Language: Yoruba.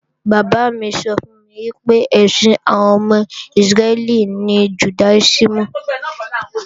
Bàbá mi sọ fún mi pé, ẹ̀sìn àwọn ọmọ Ísírẹ́lì ní Jùdáísìmù